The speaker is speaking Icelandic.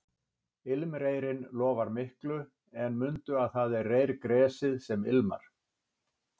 Ilmreyrinn lofar miklu en mundu að það er reyrgresið sem ilmar